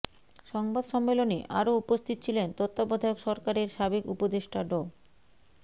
সংবাদ সম্মেলনে আরো উপস্থিত ছিলেন তত্ত্বাবধায়ক সরকারের সাবেক উপদেষ্টা ড